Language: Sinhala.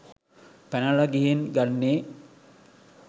පැනල ගිහින් ගන්නේ